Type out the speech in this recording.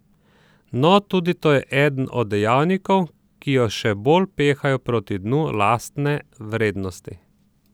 No, tudi to je eden od dejavnikov, ki jo še bolj pehajo proti dnu lastne vrednosti.